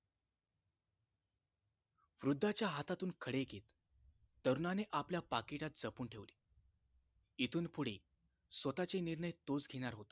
वृद्धाच्या हातातून खडे घेत तरुणाने आपल्या पाकिटात जपून ठेवले इथून पुढे स्वताचे निर्णय तोच घेणार हो